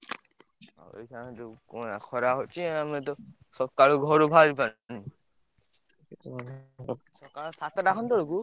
ଖରା ହଉଛି ଆମେ ତ ସକାଳୁ ଘରୁ ବାହାରି ପାରୁନୁ ଉଁ ଆଉ ସାତଟା ଖଣ୍ଡେ ବେଳକୁ।